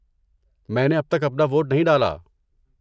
میں نے اب تک اپنا ووٹ نہیں ڈالا۔